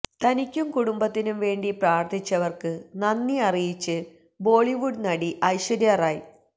തനിക്കും കുടുംബത്തിനും വേണ്ടി പ്രാർത്ഥിച്ചവർക്ക് നന്ദി അറിയിച്ച് ബോളിവുഡ് നടി ഐശ്വര്യ റായ്